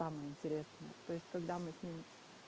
там интересно то есть когда мы с ним